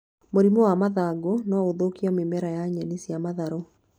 Mũrimũ wa mathangũ no ũthũkie mĩmera ya nyeni cia matharũ